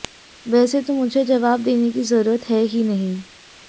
वैसे तो मुझे जवाब देने की जरूरत है ही नहीं